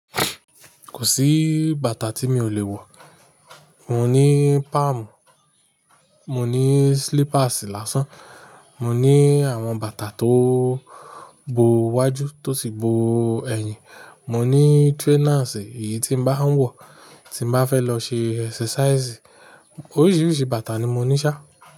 Kò sí bàtà tí mi ò lè wọ̀. Mò ní palm, mò ní slippers lásán, mò ní àwọn bàtà tó bo iwájú tó sì bo ẹ̀yìn, mò ní trainers èyí tí ba ń wọ̀ tí ń ba fẹ́ lọ ṣe exercise. Oríṣiríṣi bàtà ni mò ní ṣá.